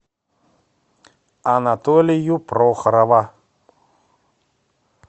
анатолию прохорова